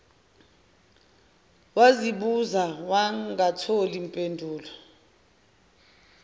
wazibuza wangathola mpendulo